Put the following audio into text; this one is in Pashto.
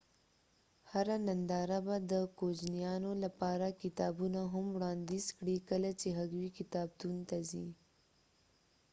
هره ننداره به د کوجنیانو لپاره کتابونه هم وړانديز کړي کله چې هغوي کتابتون ته ځي